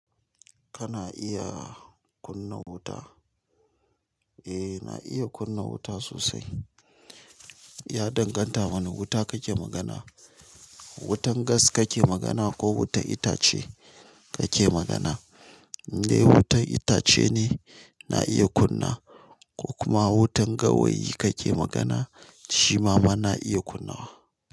Kana iya kunna wuta? Eh, na iya kunna wuta sosai. Ya danganta wane wuta kake magana. Wutan gas kake magana ko wutar itace kake magana? In wutar itace ne na iya kunna ko kuma wutan gawayi kake magana shi ma ma na iya kunna wa.